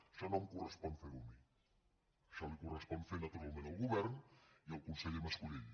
això no em correspon fer ho a mi això li correspon fer ho naturalment al govern i al conseller mas colell